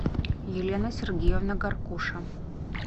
елена сергеевна горкуша